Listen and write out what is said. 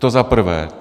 To za prvé.